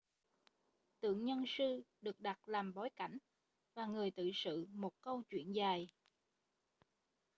tượng nhân sư được đặt làm bối cảnh và người tự sự một câu chuyện dài